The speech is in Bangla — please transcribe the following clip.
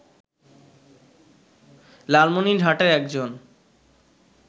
লালমিনরহাটে একজন